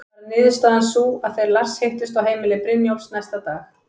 Varð niðurstaðan sú að þeir Lars hittust á heimili Brynjólfs næsta dag.